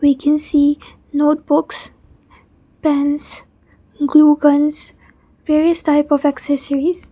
we can see notebooks pens glue guns various type of accessories.